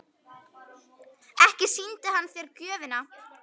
Ekki sýndi hann þér gjöfina?